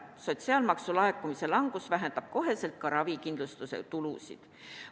Sotsiaalmaksu laekumise langus vähendab koheselt ka ravikindlustuse tulusid.